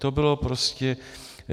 To bylo prostě...